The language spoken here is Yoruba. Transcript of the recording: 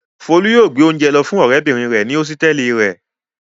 Folú yóò gbé oúnjẹ lọ fún ọ̀rẹ́bìnrin rẹ̀ ní hósítẹ́ẹ́lì rẹ̀.